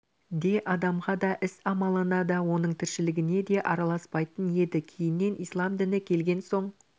де адамға да іс-амалына да оның тіршілігіне де араласпайтын еді кейіннен ислам діні келген соң